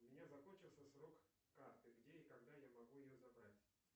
у меня закончился срок карты где и когда я могу ее забрать